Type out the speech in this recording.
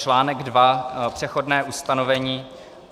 "Článek II Přechodné ustanovení.